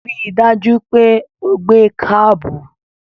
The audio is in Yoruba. Ri dájú pé o gbé kábù!